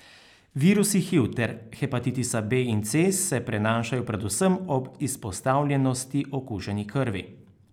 Virusi hiv ter hepatitisa B in C se prenašajo predvsem ob izpostavljenosti okuženi krvi.